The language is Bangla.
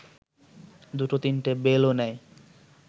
দুটো তিনটে বেলও নেয়